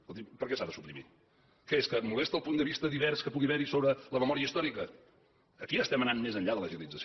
escolti’m per què s’ha de suprimir què és que molesta el punt de vista divers que pugui haver hi sobre la memòria històrica aquí estem anant més enllà de l’agilització